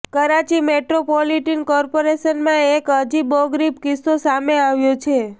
Karachi metropolitan કોર્પોરેશનમાં એક અજીબોગરીબ કિસ્સો સામે આવ્યો છે